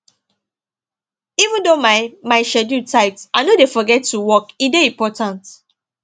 even though my my schedule tight i no dey forget to walk e dey important